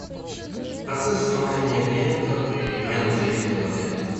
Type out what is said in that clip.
процесс оформления клиента при раннем заезде в отель